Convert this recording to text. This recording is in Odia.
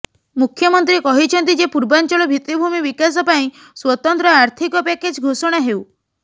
ମୁଖ୍ୟମନ୍ତ୍ରୀ କହିଛନ୍ତି ଯେ ପୂର୍ବାଞ୍ଚଳ ଭିତ୍ତିଭୂମି ବିକାଶ ପାଇଁ ସ୍ୱତନ୍ତ୍ର ଆର୍ଥିକ ପ୍ୟାକେଜ ଘୋଷଣା ହେଉ